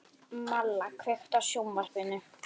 Malla, kveiktu á sjónvarpinu.